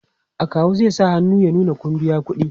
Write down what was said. akawu zai sa hannu ya nuna Kun biya ƙuɗi